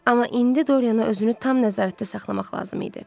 Amma indi Doryana özünü tam nəzarətdə saxlamaq lazım idi.